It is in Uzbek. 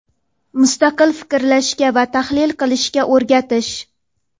mustaqil fikrlashga va tahlil qilishga o‘rgatish.